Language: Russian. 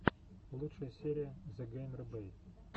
лучшая серия зэгеймербэй